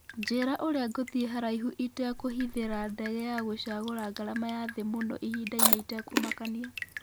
njĩra urĩa nguthiĩ haraihũ itekũhithira ndege ya ngũcagura ngarama ya thĩĩ mũno ĩhĩnda-inĩ ĩtekũmakania